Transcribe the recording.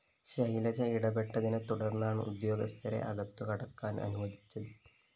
ശൈലജ ഇടപെട്ടതിനെതുടർന്നാണ് ഉദ്യോഗസ്ഥരെ അകത്തുകടക്കാൻ അനുവദിച്ചത്